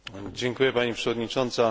Dziękuję Pani Przewodniczącej!